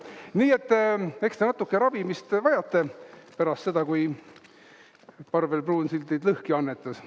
Nii et eks te natuke ravimist vajate pärast seda, kui Parvel Pruunsild teid lõhki annetas.